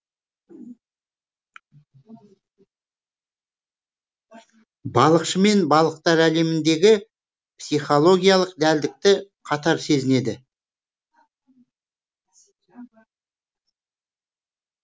балықшы мен балықтар әлеміндегі психологиялық дәлдікті қатар сезінеді